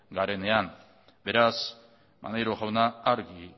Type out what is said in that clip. garenean beraz maneiro jauna argi